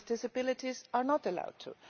people with disabilities are not allowed to.